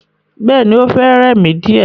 Bẹ́ẹ̀ni, o fẹ́ rẹ̀ mi díè.